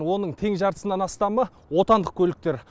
оның тең жартысынан астамы отындық көліктер